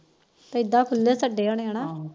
ਇਦਾ ਖੁਲੇ ਛੱਡੇ ਹੋਣੇ ਹਨਾ